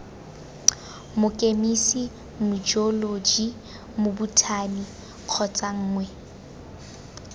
mokemise mojeoloji mobothani kgotsa nngwe